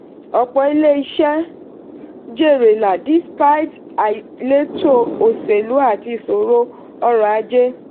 ọ̀pọ̀ ilé-iṣẹ́ jèrè lá despite àìléto oselú àti ìṣòro ọrọ̀ ajé.